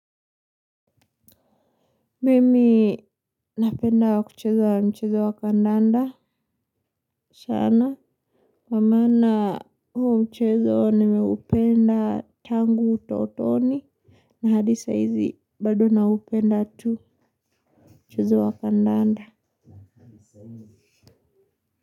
Mimi napenda kucheza mchezo wa kandanda sana kwa maana huo mchezo nimeupenda tangu utotoni. Na hadi saa hizi bado naupenda tu mchezo wa kandanda.